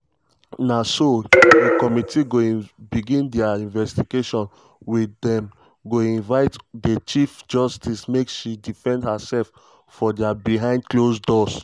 na so um di committee go begin dia investigation wia dem go invite di chief justice make she defend herself for dia behind closed doors.